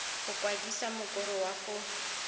go kwadisa mokoro wa go